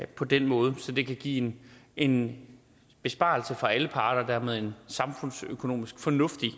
på den måde så det kan give en besparelse for alle parter og dermed en samfundsøkonomisk fornuftig